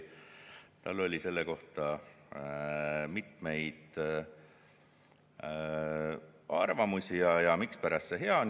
Tal oli selle kohta mitmeid arvamusi, mispärast see hea on.